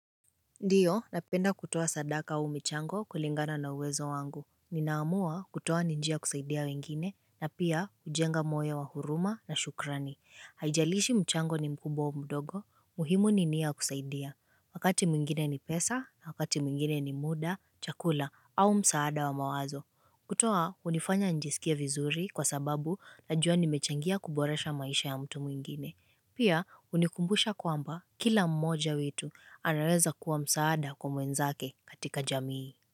Ndiyo, napenda kutoa sadaka au michango kulingana na uwezo wangu. Ninaamua kutoa ni njia kusaidia wengine, na pia kujenga moyo wa huruma na shukrani. Haijalishi mchango ni mkubwa au mdogo, muhimu ni nia ya kusaidia. Wakati mwingine ni pesa, na wakati mwingine ni muda, chakula, au msaada wa mawazo. Kutoa, hunifanya nijisikie vizuri kwa sababu najua nimechangia kuboresha maisha ya mtu mwingine. Pia hunikumbusha kwamba kila mmoja wetu anaweza kuwa msaada kwa mwezake katika jamii.